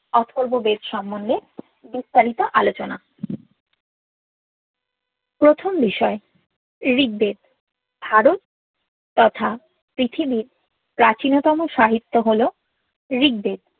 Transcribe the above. অথর্ব বেদ সমোন্ধে বিস্তারিত আলোচনা প্রথম বিষয় ঋগবেদ ধারুন তথা পৃথিবীর প্রাচীনতম সাহিত্য হল ঋগবেদ